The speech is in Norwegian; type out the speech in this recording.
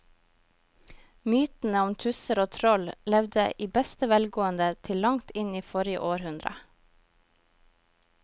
Mytene om tusser og troll levde i beste velgående til langt inn i forrige århundre.